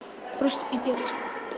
просто пипец